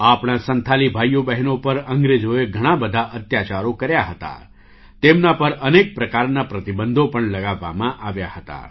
આપણા સંથાલી ભાઈઓ બહેનો પર અંગ્રેજોએ ઘણા બધા અત્યાચારો કર્યા હતા તેમના પર અનેક પ્રકારના પ્રતિબંધો પણ લગાવવામાં આવ્યા હતા